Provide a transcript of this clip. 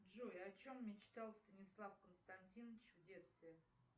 джой о чем мечтал станислав константинович в детстве